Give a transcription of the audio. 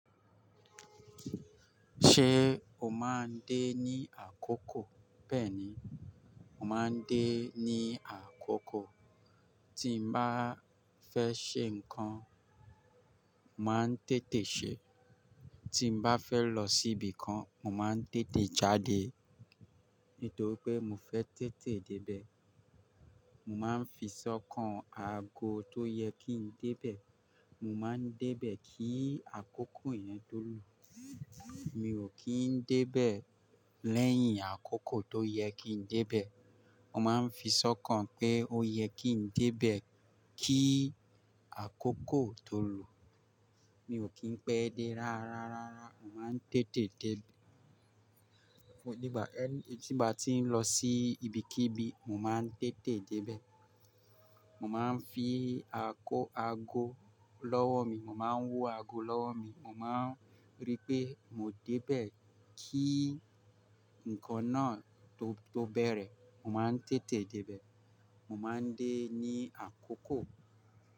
Ṣé o máa ń dé ní àkókò? Bẹ́ẹ̀ni, mo máa ń dé ní àkókò. Tí n bá fẹ́ ṣe nǹkan, màá ń tètè ṣe. Tí n bá fẹ́ lọ síbi kan, mo màa ń tètè jáde. Nítorí pé mo fẹ́ tètè débẹ̀. Mo máa ń fi sọ́kàn ago tó yẹ kí n débẹ̀. Mo máa ń débẹ̀ kí àkókò yẹn tó lù. Mi ò kí ń débẹ̀ lẹ́yìn àkókò tó yẹ kí ń débẹ̀. Mo máa ń fi sọ́kàn pé ó yẹ kí ń débẹ̀ kí àkókò tó lù. Mi ò kí ń pẹ́ dé rárárárá. Mo máa ń tètè dé. Nígbà tí mo bá ti ń lọ sí ibikíbi, mo máa ń tètè débẹ̀. Mo máa ń fi aago lọ́wọ́ mi, mo máa ń wọ aago lọ́wọ́ mi. Mo máa ń rí pé mo débẹ̀ kí nǹkan náà tó bẹ̀rẹ̀. Mo máa ń tètè débẹ̀. Mo máa ń dé ní àkókò.